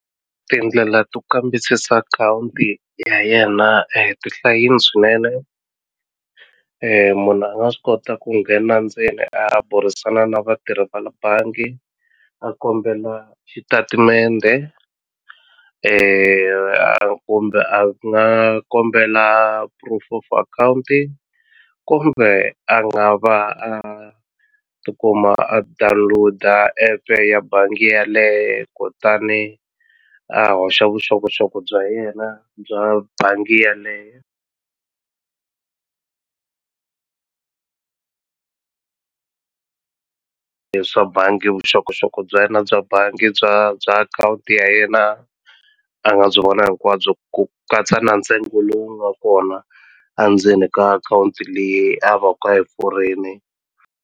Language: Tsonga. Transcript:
Tindlela to kambisisa akhawunti ya yena ti hlayini swinene munhu a nga swi kota ku nghena ndzeni a burisana na vatirhi va le bangi a kombela xitatimende a kumbe a nga kombela proof of akhawunti kumbe a nga va a tikuma a download-a epe ya bangi yaleye kutani a hoxa vuxokoxoko bya yena bya bangi yaleye le swa bangi vuxokoxoko bya yena bya bangi bya bya akhawunti ya yena a nga byi vona hinkwabyo ku katsa na ntsengo lowu nga kona a ndzeni ka akhawunti leyi a va ku a yi pfurini.